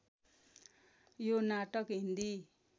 यो नाटक हिन्दी